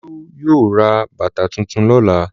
Olú yóò ra bàtà tuntun lọ́la.